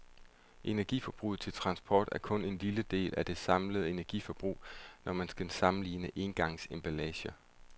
Energiforbruget til transport er kun en lille del af det samlede energiforbrug, når man skal sammenligne engangsemballager.